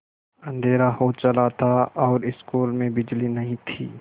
अँधेरा हो चला था और स्कूल में बिजली नहीं थी